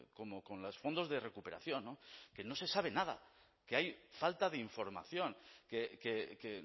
como con los fondos de recuperación que no se sabe nada que hay falta de información que